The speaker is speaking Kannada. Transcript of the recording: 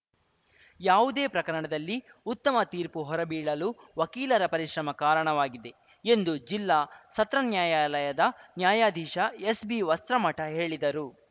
ಯಾವುದೇ ಪ್ರಕರಣದಲ್ಲಿ ಉತ್ತಮ ತೀರ್ಪು ಹೊರಬೀಳಲು ವಕೀಲರ ಪರಿಶ್ರಮ ಕಾರಣವಾಗಿದೆ ಎಂದು ಜಿಲ್ಲಾ ಸತ್ರನ್ಯಾಯಾಲದ ನ್ಯಾಯಾಧೀಶ ಎಸ್‌ಬಿ ವಸ್ತ್ರಮಠ ಹೇಳಿದರು